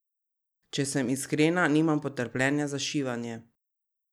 Če sem iskrena, nimam potrpljenja za šivanje.